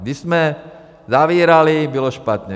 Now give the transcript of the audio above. Když jsme zavírali, bylo špatně.